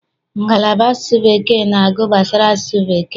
Ngala asụsụ Bekee na-agụ gbasara asụsụ bekee.